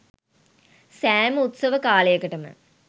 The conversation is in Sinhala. සෑම උත්සව කාලයකටම